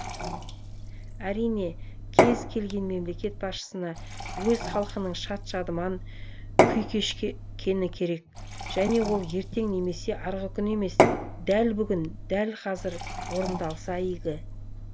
әрине кез келген мемлекет басшысына өз халқының шат шадыман күй кешкені керек және ол ертең немесе арғыкүні емес дәл бүгін дәл қазір орындалса игі